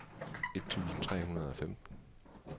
et tusind tre hundrede og femten